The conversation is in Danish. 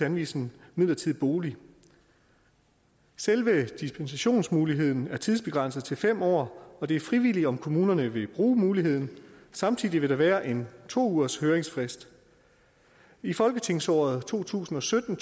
anvise en midlertidig bolig selve dispensationsmuligheden er tidsbegrænset til fem år og det er frivilligt om kommunerne vil bruge muligheden samtidig vil der være en to ugershøringsfrist i folketingsåret to tusind og sytten